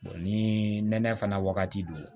ni nɛnɛ fana wagati don